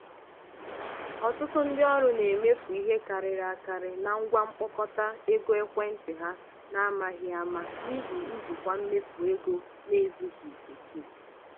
ọtụtụ ndị ọrụ na-emefu ihe karịrị akarị na ngwa mkpokọta ego ekwentị ha n'amaghị ama n'ihi njikwa mmefu ego na-ezughị oke.